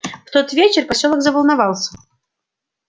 в тот вечер посёлок заволновался